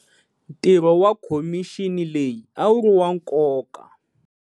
Ntirho wa khomixini leyi a wu ri wa nkoka.